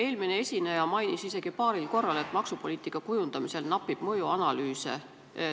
Eelmine esineja mainis paaril korral, et maksupoliitika kujundamisel napib mõjuanalüüse.